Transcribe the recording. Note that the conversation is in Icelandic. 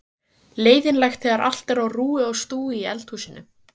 Leiðinlegt þegar allt er á rúi og stúi í eldhúsinu.